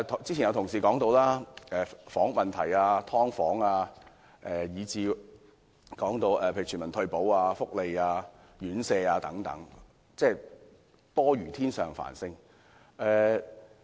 之前有同事說過，房屋問題、"劏房"，以至例如全民退保、福利、院舍等問題多如天上繁星。